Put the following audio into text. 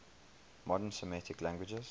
modern semitic languages